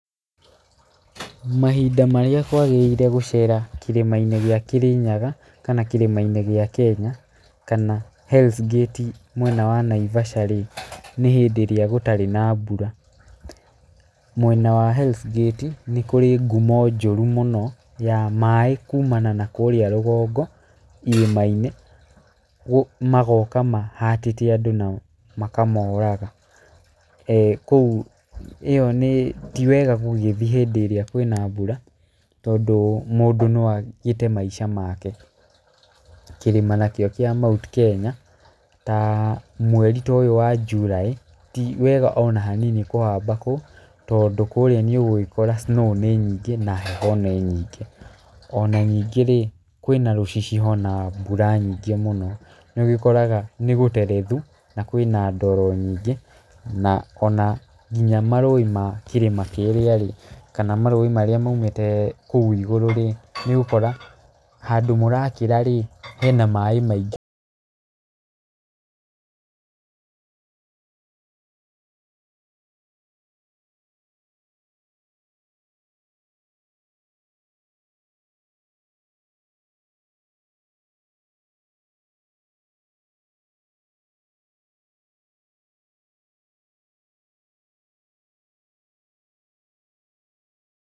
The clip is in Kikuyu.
Mahinda marĩa kwagĩrĩire gũcera kĩrĩma-inĩ gĩa Kĩrĩnyaga kana kĩrĩma-inĩ gĩa Kenya, kana Hell's Gate mwena wa Naivasha rĩ, nĩ hĩndĩ ĩrĩa gũtarĩ na mbura. Mwena wa Hell's Gate nĩ kũrĩ ngumo njũru mũno ya maaĩ kumana na kũrĩa rũgongo irĩma-inĩ magoka mahatĩte andũ na makamoraga. Kũu ĩyo nĩ ti wega gũgĩthiĩ hĩndĩ ĩrĩa kwĩna mbura tondũ mũndũ no agĩte maisha make. Kĩrĩma nakĩo kĩa Mount Kenya ta mweri ta ũyũ wa July ti wega ona hanini kũhamba kũu, tondũ kũrĩa nĩ ũgũgĩkora snow nĩ nyingĩ na heho nĩ nyingĩ. Ona ningĩ rĩ kwĩna rũcicio na mbura nyingĩ mũno, nĩ ũgĩkoraga nĩ gũterethu na kwĩna ndoro nying,ĩ na ona nginya marũũĩ ma kĩrĩma kĩrĩa rĩ, kana marũĩ marĩa maumĩte kũu igũrũ rĩ, nĩ ũgũkora handũ mũrakĩra rĩ, hena maĩ maingĩ.